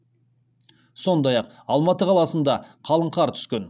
сондай ақ алматы қаласында қалың қар түскен